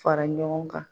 Fara ɲɔgɔn kan